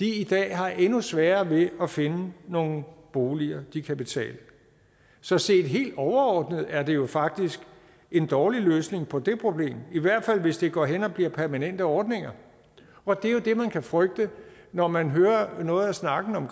i dag har endnu sværere ved at finde nogle boliger de kan betale så set helt overordnet er det jo faktisk en dårlig løsning på det problem i hvert fald hvis det går hen og bliver permanente ordninger og det er jo det man kan frygte når man hører noget af snakken om